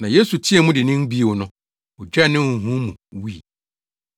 Na Yesu teɛɛ mu dennen bio no, ogyaa ne honhom mu wui.